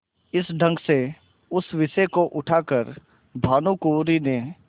इस ढंग से इस विषय को उठा कर भानुकुँवरि ने